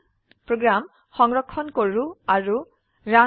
program সংৰক্ষণ কৰো আৰু ৰান কৰি